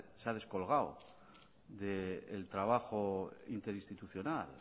se ha descolgado del trabajo interinstitucional